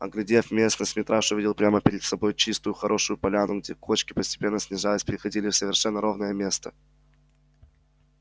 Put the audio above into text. оглядев местность митраша увидел прямо перед собой чистую хорошую поляну где кочки постепенно снижаясь переходили в совершенно ровное место